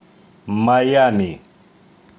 майами